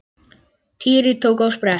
Týri tók á sprett.